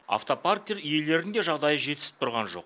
автопарктер иелерінің де жағдайы жетісіп тұрған жоқ